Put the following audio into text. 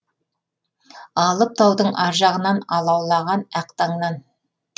алып таудың аржағынан алаулаған ақ таңнан